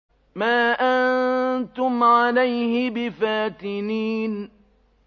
مَا أَنتُمْ عَلَيْهِ بِفَاتِنِينَ